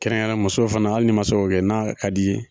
Kɛrɛnkɛrɛnnen yara musow fɛnɛ hali n'i ma se k'o kɛ n'a ka d'i ye